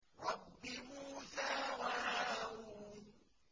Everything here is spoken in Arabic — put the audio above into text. رَبِّ مُوسَىٰ وَهَارُونَ